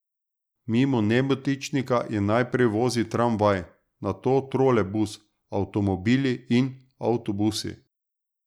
Mimo Nebotičnika je najprej vozil tramvaj, nato trolejbus, avtomobili in avtobusi.